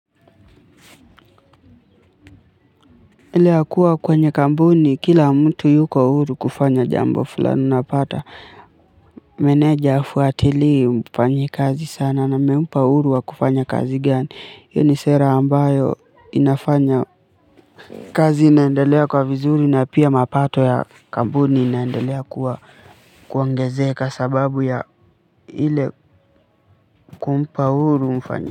Ile ya kuwa kwenye kampuni, kila mtu yuko huru kufanya jambo fulani napata. Meneja hafuatilii umfanyie sana na mmempa uhuru wa kufanya kazi gani. Hii ni sera ambayo inafanya kazi inaendelea kwa vizuri na pia mapato ya kampuni inaendelea kuwa kuongezeka sababu ya ile kumpa uhuru mfanyakazi.